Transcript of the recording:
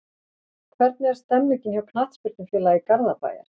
Hvernig er stemningin hjá Knattspyrnufélagi Garðabæjar?